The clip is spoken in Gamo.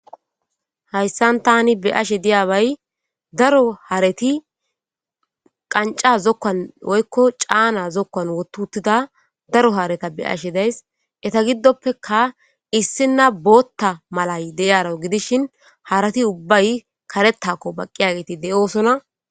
Hayssan tani beashe diyabay daro hareti qanca zokkan oykko caana zokkan wotutida daro hareta be ashe days eta giddoppeka issina bootta malay deyaro gidishin harati ubbay karettakko baqqiyageti de'oosona.